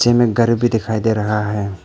इनमें घर भी दिखाई दे रहा है।